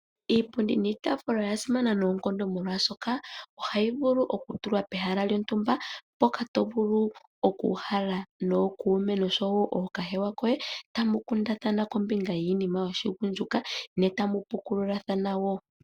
Iipundi niitaafula oya simana noonkondo molwaashoka ohayi vulu oku tulwa pehala lyontumba mpoka to vulu oku uhala nookuume nosho woo ookahewa koye tamu kundathana kombinga yiinima yoshigundjuka ne tamu pukululathana woo.